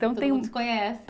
Então tem. Todo mundo se conhece.